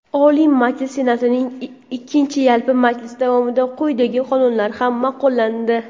Oliy Majlisi Senatining ikkinchi yalpi majlisi davomida quyidagi qonunlar ham maʼqullandi:.